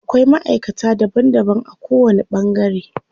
Akwai maʼaikata daban daban a ko wani ɓangare.